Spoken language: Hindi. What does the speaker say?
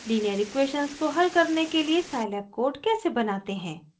लीनियर इक्वेशन्स को हल करने के लिए scilab कोड कैसे बनाते हैं